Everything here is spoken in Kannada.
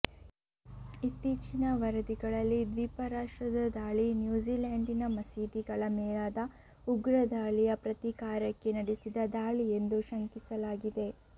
ಇತ್ತೀಚಿನ ವರದಿಗಳಲ್ಲಿ ದ್ವೀಪರಾಷ್ಟ್ರದ ದಾಳಿ ನ್ಯೂಜಿಲೆಂಡಿನ ಮಸೀದಿಗಳ ಮೇಲಾದ ಉಗ್ರದಾಳಿಯ ಪ್ರತೀಕಾರಕ್ಕೆ ನಡೆಸಿದ ದಾಳಿಯೆಂದು ಶಂಕಿಸಲಾಗಿದೆ